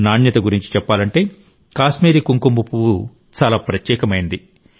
నాణ్యత గురించి చెప్పాలంటే కాశ్మీరీ కుంకుమ పువ్వు చాలా ప్రత్యేకమైంది